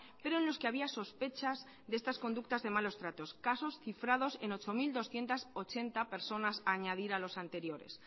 pero en los que había sospechas de estas conductas de malos tratos casos cifrados en ocho mil doscientos ochenta personas a añadir a los anteriores